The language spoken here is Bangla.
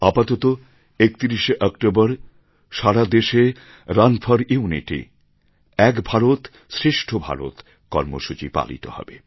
আপাতত ৩১ শে অক্টোবর সারা দেশে run for unity Ek Bharat Shreshtha Bharat কর্মসূচি পালিত হচ্ছে